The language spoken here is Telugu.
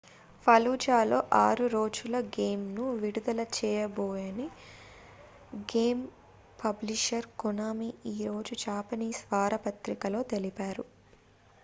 fallujahలో 6 రోజుల గేమ్‌ను విడుదల చేయబోమని గేమ్ పబ్లిషర్ konami ఈరోజు japanese వారపత్రికలో తెలిపారు